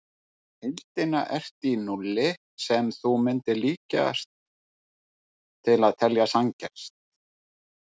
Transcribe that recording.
Í heildina ertu í núlli sem þú mundir líkast til telja sanngjarnt.